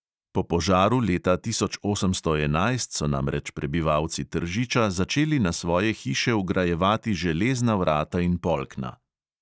Po požaru leta tisoč osemsto enajst so namreč prebivalci tržiča začeli na svoje hiše vgrajevati železna vrata in polkna.